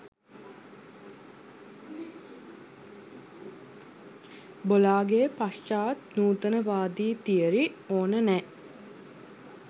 බොලාගේ පශ්චාත් නූතනවාදී තියරි ඕන නෑ